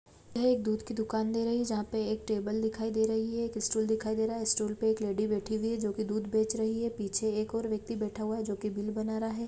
यह एक दूध की दुकान दे रही है जहाँ पे एक टेबल दिखाई दे रही है स्टूल दिखाई दे रहा है स्टूल पर एक लेडी बैठी हुई है जो कि दूध बेच रही है पीछे एक और व्यक्ति बैठा हुआ है जो कि बिल बना रहा है।